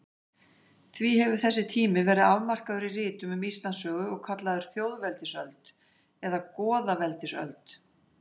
Því hefur þessi tími verið afmarkaður í ritum um Íslandssögu og kallaður þjóðveldisöld eða goðaveldisöld.